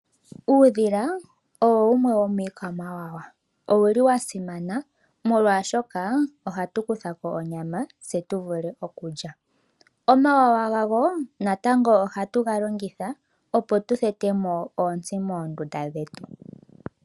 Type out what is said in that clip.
Uudhila owo wumwe womiikwamawawa. Owuli wa simana, molwaashoka ohatu kutha ko onyama tse tu vule okulya. Omawawa gawo natango ohatu ga longitha, opo tu thete mo oontsi moondunda dhetu.